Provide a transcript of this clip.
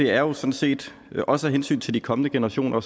er jo sådan set også af hensyn til de kommende generationer